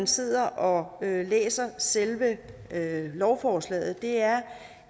sidder og læser selve lovforslaget er